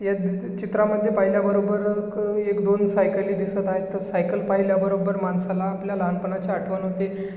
ह्या चित्रामध्ये पाहिल्यावर बरोबर एक अ दोन सायकली दिसत आहेत तर सायकल पाहिल्या बरोबर माणसाला आपल्या लहानपणाची आठवण होते.